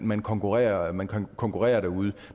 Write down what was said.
man konkurrerer man konkurrerer derude